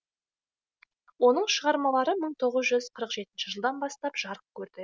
оның шығармалары мың тоғыз жүз қырық жетінші жылдан бастап жарық көрді